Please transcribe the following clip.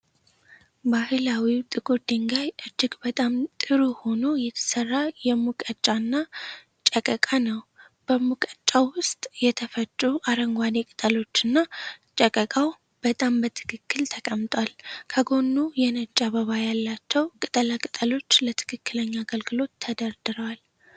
ባህላዊው ጥቁር ድንጋይ እጅግ በጣም ጥሩ ሆኖ የተሰራ የሙቀጫና ጨቀቃ ነው። በሙቀጫው ውስጥ የተፈጩ አረንጓዴ ቅጠሎችና ጨቀቃው በጣም በትክክል ተቀምጧል። ከጎኑ የነጭ አበባ ያላቸው ቅጠላ ቅጠሎች ለትክክለኛ አገልግሎት ተደርድረዋል።